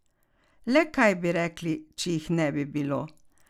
Le kaj bi rekli, če jih ne bi bilo?